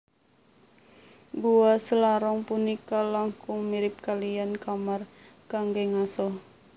Gua Selarong punika langkung mirip kaliyan kamar kanggé ngaso